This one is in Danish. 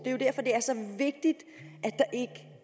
er jo derfor det er så vigtigt